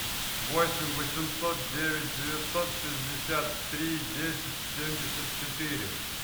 восемь восемьсот девять девятьсот шестьдесят три десять семьдесят четыре